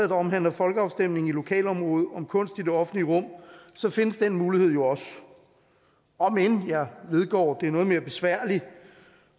der omhandler folkeafstemning i et lokalområde om kunst i det offentlige rum findes den mulighed jo også om end jeg vedgår at det er noget mere besværligt